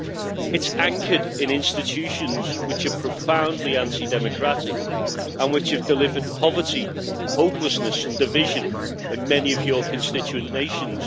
It is anchored in institutions which are profoundly anti democratic and which have delivered poverty, hopelessness and division in many of your constituent nations.